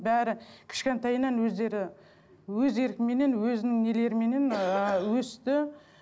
бәрі кішкентайынан өздері өз еркіменен өзінің нелеріменен ыыы өсті